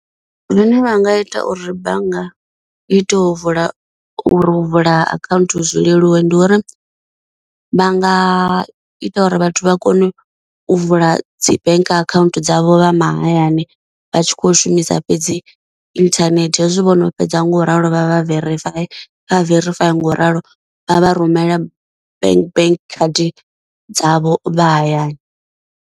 Zwine vha nga ita uri bannga i tea u vula uri u vula akhaunthu zwi leluwe ndi uri vha nga ita uri vhathu vha kone u vula dzi bank account dzavho vha mahayani vha tshi kho shumisa fhedzi internet, hezwi vhono fhedza nga u ralo vha verifaya vha verifaya nga u ralo vha vha rumela bank bank card dzavho vha hayani.